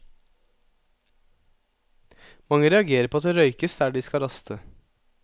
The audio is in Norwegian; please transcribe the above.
Mange reagerer på at det røykes der de skal raste.